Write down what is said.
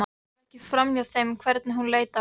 Það fór ekki framhjá þeim hvernig hún leit á hann.